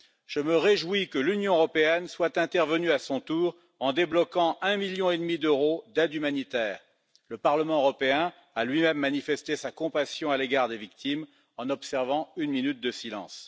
Je me réjouis que l'Union européenne soit intervenue à son tour en débloquant un million et demi d'euros d'aide humanitaire. Le Parlement européen a lui même manifesté sa compassion à l'égard des victimes en observant une minute de silence.